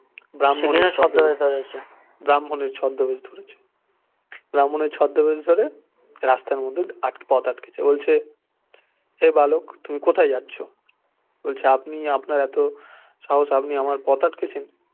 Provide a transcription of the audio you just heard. ব্রাহ্মণের ছদ্দবেশ ধরেছে ব্রাহ্মণের ছদ্দবেশ ধরে রাস্তার মধ্যে পথ আটকেছে বলছে হে বালক তুমি কোথায় যাচ্ছ বলছে আপনি আপনার এতো সাহস আপনি আমার পথ আটকেছেন